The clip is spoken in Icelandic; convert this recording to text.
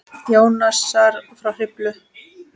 Jónasar frá Hriflu.